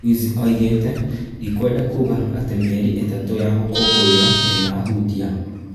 Ruiz oigĩte "ndikwenda kuuga atĩ mĩeri ĩtatũ ya gũkũngũĩra ndĩna hutia?